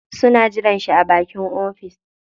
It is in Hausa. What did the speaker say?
Suna jiran shi a bakin ofis.